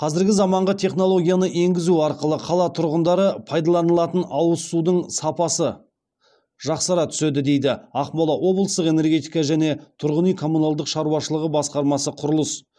қазіргі замаңғы технологияны енгізу арқылы қала тұрғындары пайдаланылатын ауыз судың сапасы жақсара түседі дейді ақмола облыстық энергетика және тұрғын үй коммуналдық шаруашылығы басқармасы құрылыс